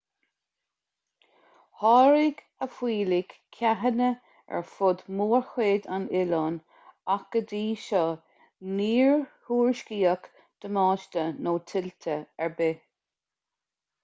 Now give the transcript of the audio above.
tháirg a fuílligh ceathanna ar fud mórchuid an oileáin ach go dtí seo níor thuairiscíodh damáiste nó tuilte ar bith